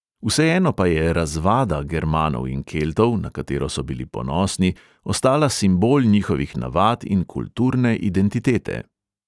Vseeno pa je "razvada" germanov in keltov, na katero so bili ponosni, ostala simbol njihovih navad in kulturne identitete.